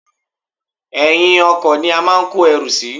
Èyin ọkò ni a máa ń kó erù sí